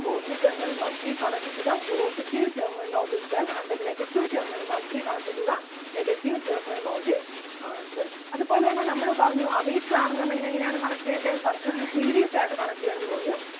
positive terminal must be connected to the positive terminal of the cell and the negative terminal must be connected to the negative terminal of the ah cell. അതുപോലെ തന്നെ നമ്മള് പറഞ്ഞു ammeter ആണെന്നുണ്ടെങ്കിൽ എങ്ങനെ ആണ് connect ചെയ്യണ്ടേ circuit ല് series ആയിട്ട് connect ചെയ്യണം എന്ന് പറഞ്ഞു.